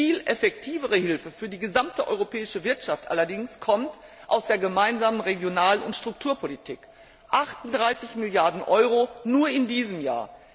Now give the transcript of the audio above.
Viel effektivere Hilfe für die gesamte europäische Wirtschaft allerdings kommt aus der gemeinsamen Regional und Strukturpolitik 38 Milliarden EUR nur in diesem Jahr!